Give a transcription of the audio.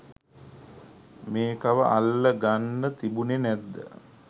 මේකව අල්ල ගන්න තිබුනෙ නැද්ද?